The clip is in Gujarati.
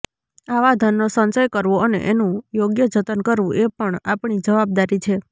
આવા ધનનો સંચય કરવો અને એનું યોગ્ય જતન કરવું એ પણ આપણી જવાબદારી છે